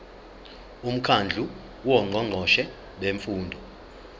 umkhandlu wongqongqoshe bemfundo